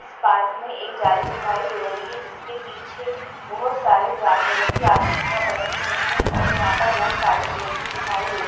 इस पार्क में एक जाली दिखाई दे रही है जिसके पीछे बोहत सारे जानवरो की आकृतियाँ बनी हुई है और यहाँ पर बोहत सारे पेड़ भी दिखाई दे--